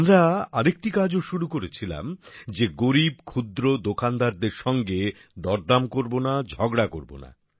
আমরা আরেকটি কাজও শুরু করেছিলাম যে গরীব ক্ষুদ্র দোকানদারদের সঙ্গে দরদাম করব না ঝগড়া করব না